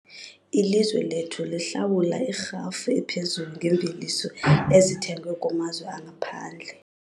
Ilizwe lethu lihlawula irhafu ephezulu ngeemveliso ezithengwe kumazwe angaphandle.